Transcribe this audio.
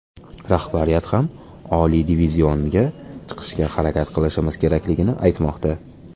Rahbariyat ham oliy divizionga chiqishga harakat qilishimiz kerakligini aytmoqda.